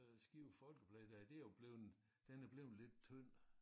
Øh Skive Folkeblad der det jo blevet den er blevet lidt tynd